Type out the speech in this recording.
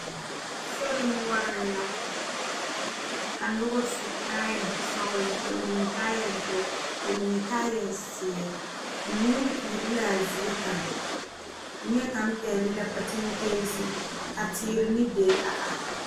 Sori noɔre la ka noba su kaaya sɔglɔ bamine kaaya doɔ bamine kaaya ziiri nyuure iri la zie kaŋ nie kaŋ pegle la pakyiŋ kaase ka teere ne dire a are.